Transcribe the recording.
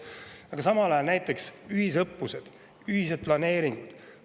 Aga samal ajal näiteks ühisõppused, ühised planeerimised.